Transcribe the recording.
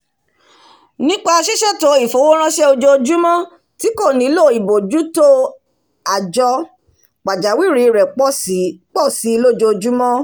nípa sísètò ìfowóránsẹ́ ojoojúmọ́ tí kò nílò ìbójútó o àjọ pàjáwìrì rẹ̀ pọ̀si lójojúmọ́